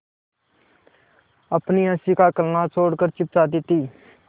अपनी हँसी का कलनाद छोड़कर छिप जाती थीं